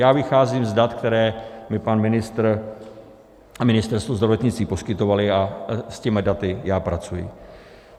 Já vycházím z dat, která mi pan ministr a Ministerstvo zdravotnictví poskytovali, a s těmito daty já pracuji.